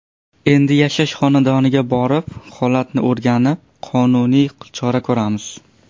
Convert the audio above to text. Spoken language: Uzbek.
Endi yashash xonadoniga borib, holatni o‘rganib, qonuniy chora ko‘ramiz.